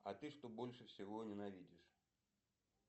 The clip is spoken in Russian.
а ты что больше всего ненавидишь